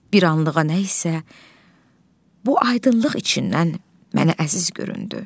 Bir anlığa nə isə bu aydınlıq içindən mənə əziz göründü.